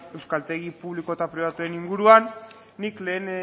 euskaltegi publiko eta pribatuen inguruan nik lehen